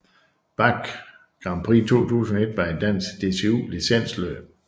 Bache Grand Prix 2021 var et dansk DCU licensløb